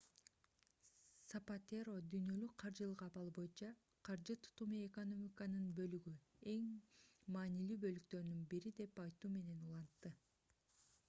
сапатеро дүйнөлүк каржылык абалы боюнча каржы тутуму экономиканын бөлүгү эң маанилүү бөлүктөрдүн бири деп айтуу менен улантты